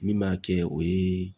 Min m'a kɛ o ye